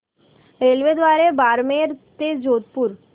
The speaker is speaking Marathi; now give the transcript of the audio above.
रेल्वेद्वारे बारमेर ते जोधपुर